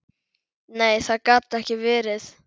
Nei, það gat ekki verið.